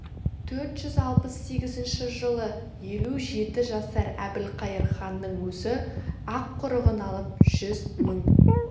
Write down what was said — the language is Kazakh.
төрт жүз алпыс сегізінші жылы елу жеті жасар әбілқайыр ханның өзі ақұрығын алып жүз мың